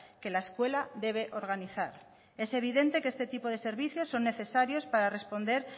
que la escuela debe organizar es evidente que este tipo de servicio son necesario para responder